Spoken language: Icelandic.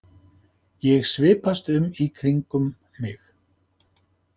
Ég svipast um í kringum mig.